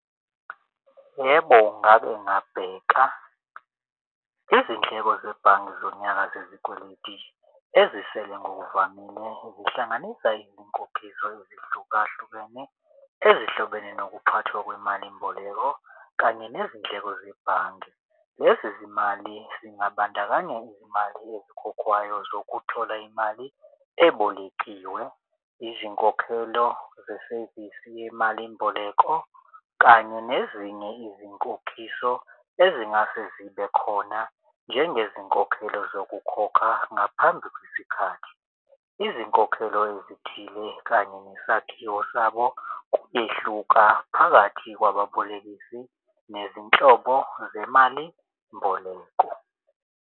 Yebo, ngake ngabheka izindleko zebhange zonyaka zeziketi ezisele ngokuvamile zihlanganisa izinkokhiso ezihlukahlukene ezihlobene nokuthathwa kwemalimboleko kanye nezindleko zebhange. Lezi zimali zingabandakanya izimali ezikhokhwayo zokuthola imali ebolekiwe. Izinkokhelo zesevisi yemalimboleko kanye nezinye izinkokhiso ezingase zibe khona njengezinkokhelo zokukhokha ngaphambi kwesikhathi. Izinkokhelo ezithile kanye nesakhiwo sabo kuyehluka phakathi kwababolekisi nezinhlobo zemalimboleko.